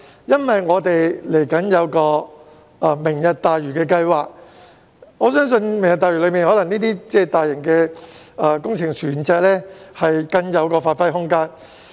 因為香港未來有一個"明日大嶼"計劃，我相信這些大型船隻在此計劃內會有更大的發揮空間。